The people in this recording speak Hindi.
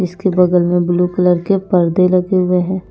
इसके बगल में ब्लू कलर के पर्दे लगे हुए हैं।